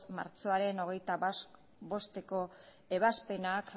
martxoaren hogeita bosteko ebazpenak